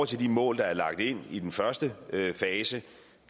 til de mål der er lagt ind i den første fase